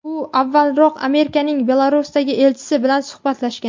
u avvalroq Amerikaning Belarusdagi elchisi bilan suhbatlashgan.